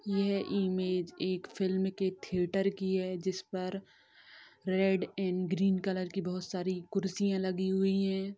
यह इमेज एक फिल्म के थीयेटार की है जिस पर रेड एंड ग्रीन कलर की बहोत सारी कुर्सियां लगी हुइ है।